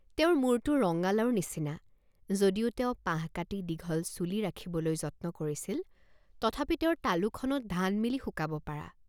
তেওঁৰ মুৰটো ৰঙ্গালাওৰ নিচিনা, যদিও তেওঁ পাহ কাটি দীঘল চুলি ৰাখিবলৈ যত্ন কৰিছিল তথাপি তেওঁৰ তালুখনত ধান মেলি শুকাব পৰা।